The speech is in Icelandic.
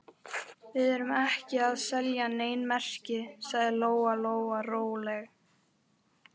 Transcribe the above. Við erum ekki að selja nein merki, sagði Lóa Lóa rólega.